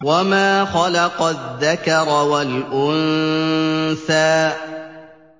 وَمَا خَلَقَ الذَّكَرَ وَالْأُنثَىٰ